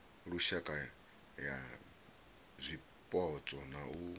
lushaka ya zwipotso na u